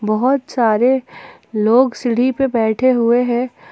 बहुत सारे लोग सीढ़ी पे बैठे हुए हैं।